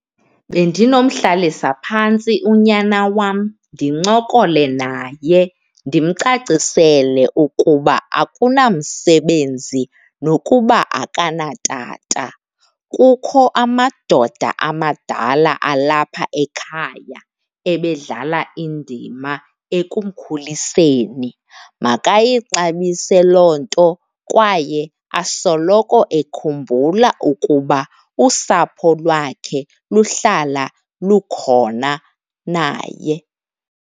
Bendinomhlalisa phantsi unyana wam ndincokole naye, ndimcacisele ukuba akunamsebenzi nokuba akanatata. Kukho amadoda amadala alapha ekhaya ebedlala indima ekumkhuliseni. Makayixabise loo nto kwaye asoloko ekhumbula ukuba usapho lwakhe luhlala lukhona naye.